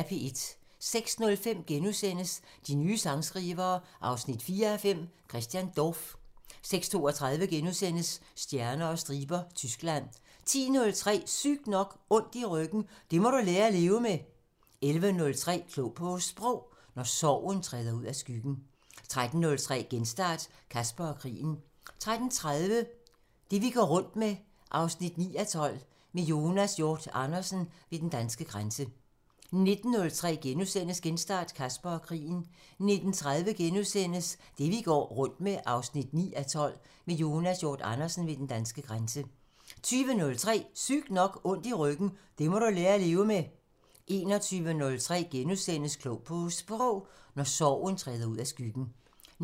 06:05: De nye sangskrivere 4:5 – Christian Dorph * 06:32: Stjerner og striber – Tyskland * 10:03: Sygt nok: Ondt i ryggen – det må du lære at leve med 11:03: Klog på Sprog: Når sorgen træder ud af skyggen 13:03: Genstart: Caspar og krigen 13:30: Det vi går rundt med 9:12 – Med Jonas Hjort Andersen ved den danske grænse 19:03: Genstart: Caspar og krigen * 19:30: Det vi går rundt med 9:12 – Med Jonas Hjort Andersen ved den danske grænse * 20:03: Sygt nok: Ondt i ryggen – det må du lære at leve med 21:03: Klog på Sprog: Når sorgen træder ud af skyggen *